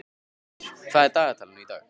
Týr, hvað er á dagatalinu í dag?